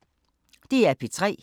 DR P3